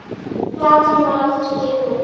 Platan var aldrei gefin út.